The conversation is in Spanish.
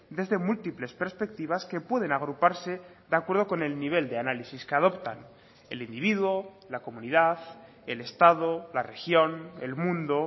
desde múltiples perspectivas que pueden agruparse de acuerdo con el nivel de análisis que adoptan el individuo la comunidad el estado la región el mundo